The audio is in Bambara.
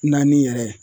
Naani yɛrɛ